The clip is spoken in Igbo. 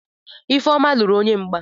Ifeoma luru onye mgba.